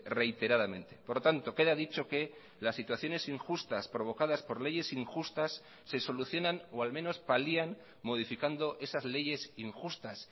reiteradamente por lo tanto queda dicho que las situaciones injustas provocadas por leyes injustas se solucionan o al menos palian modificando esas leyes injustas